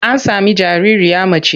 An sami jaririya mace.